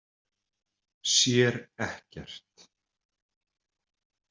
Sér ekkert.